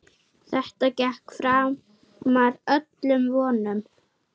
Þetta gekk framar öllum vonum.